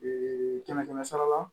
kɛmɛ kɛmɛ sara la